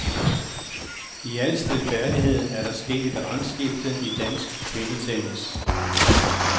I al stilfærdighed er det sket et rangskifte i dansk kvindetennis.